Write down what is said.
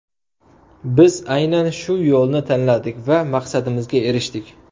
Biz aynan shu yo‘lni tanladik va maqsadimizga erishdik.